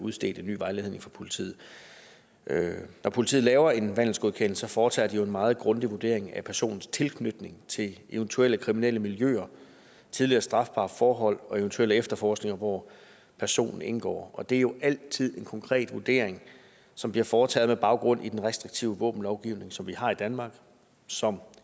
udstedt en ny vejledning fra politiet når politiet laver en vandelsgodkendelse foretager de jo en meget grundig vurdering af personens tilknytning til eventuelle kriminelle miljøer tidligere strafbare forhold og eventuelle efterforskninger hvor personen indgår og det er jo altid en konkret vurdering som bliver foretaget med baggrund i den restriktive våbenlovgivning som vi har i danmark og som